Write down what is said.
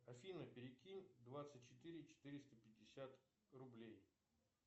афина перекинь двадцать четыре четыреста пятьдесят рублей